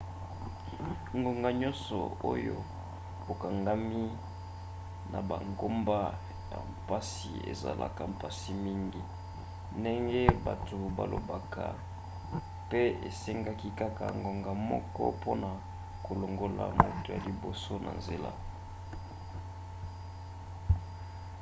ngonga nyonso oyo okangami na bangomba ya mpasi ezalaka mpasi mingi ndenge bato balobaka pe esengaki kaka ngonga moko mpona kolongola moto ya liboso na nzela.